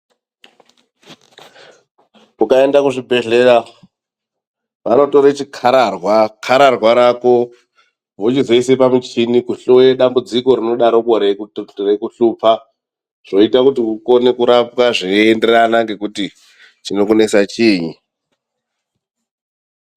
Ukaenda kuzvibhedhlera vanotora chikhararwa, khararwa rako vochizoisa pamuchini kuhloye dambudziko rinodaroko reikuhlupa. Zvoita kuti ukone kurapwa zveinderana ngekuti chinokunesa chiinyi